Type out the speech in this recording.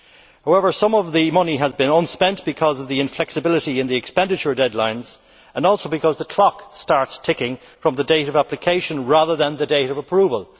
However, some of the money has remained unspent because of the inflexibility in the expenditure deadlines and because the clock starts ticking from the date of application, rather than the date of approval.